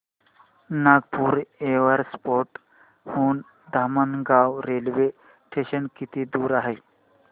Nagpur airport हून Dhamangaon railway station किती दूर आहे